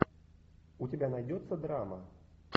у тебя найдется драма